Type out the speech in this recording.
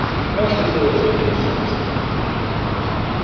за окном светило зимнее солнце